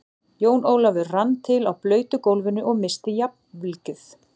Jón Ólafur rann til á blautu gólfinu og missti jafnvlgið.